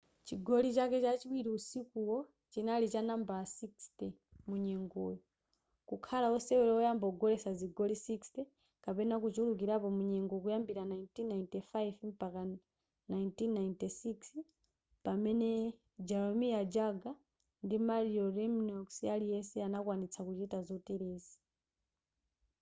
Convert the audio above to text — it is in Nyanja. chigoli chake chachiwiri usikuwo chinali cha nambala 60 munyengoyo kukhala osewera oyamba kugoletsa zigoli 60 kapena kuchulukilapo mu nyengo kuyambira 1995-96 pamene jaromir jagr ndi mario lemieux aliyese anakwanitsa kuchita zoterezi